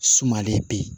Sumalen be yen